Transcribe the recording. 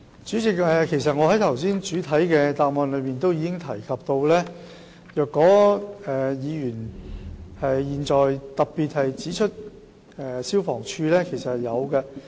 主席，我剛才在主體答覆中已經提及，議員特別指出的消防處是有執法的。